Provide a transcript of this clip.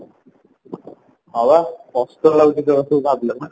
ହଁ ପା କଷ୍ଟ ଲାଗୁଚି ସେଇଗୁଡା ସବୁ ଭବିଲା ମାନେ